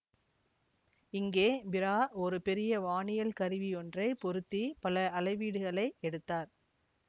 இங்கே பிரா ஒரு பெரிய வானியல் கருவியொன்றைப் பொருத்திப் பல அளவீடுகளை எடுத்தார்